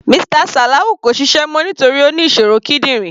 Mr Salawu kò ṣiṣẹ́ mọ́ nítorí Ó ní ìṣòro kídìrín.